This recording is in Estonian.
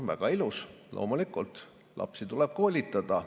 Väga ilus, loomulikult tuleb lapsi koolitada.